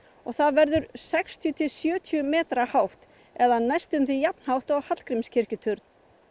það verður sextíu til sjötíu metra hátt eða næstum því jafnhátt og Hallgrímskirkjuturn